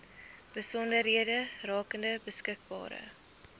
besonderhede rakende beskikbare